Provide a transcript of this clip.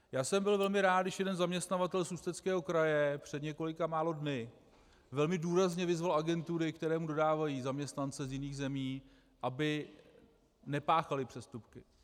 Já jsem byl velmi rád, když jeden zaměstnavatel z Ústeckého kraje před několika málo dny velmi důrazně vyzval agentury, které mu dodávají zaměstnance z jiných zemí, aby nepáchaly přestupky.